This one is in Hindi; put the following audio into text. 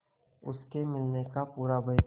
उसके मिलने का पूरा भय था